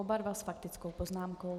Oba dva s faktickou poznámkou.